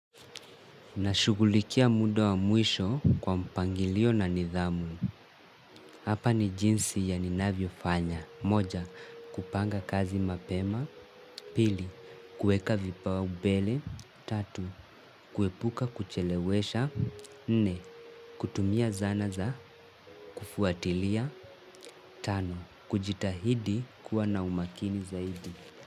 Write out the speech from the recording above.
Na shughulikia muda wa mwisho kwa mpangilio na nidhamu. Hapa ni jinsi ya ninavyo fanya. Moja, kupanga kazi mapema. Pili, kuweka vipau mbele. Tatu, kuepuka kuchelewesha. Nne, kutumia zana za kufuatilia. Tano, kujitahidi kuwa na umakini zaidi.